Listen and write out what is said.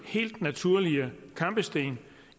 helt naturlige kampesten